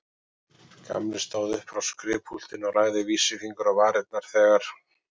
Gamli stóð upp frá skrifpúltinu og lagði vísifingur á varirnar þegar